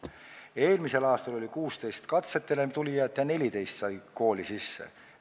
Eelmisel aastal oli 16 katsetele tulijat ja 14 said kooli sisse.